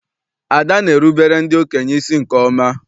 Ada na-erubere ndị okenye isi nke ọma.